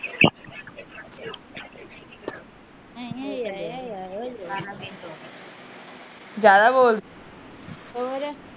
ਜਿਆਦਾ ਬੋਲ